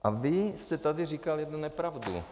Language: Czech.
A vy jste tady říkal jednu nepravdu.